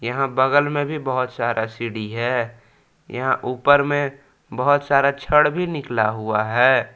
यहां बगल में भी बहुत सारा सीढ़ी है यहां ऊपर में बहोत सारा छड़ भी निकला हुआ है।